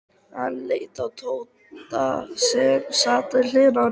Hann leit á Tóta sem sat við hliðina á honum.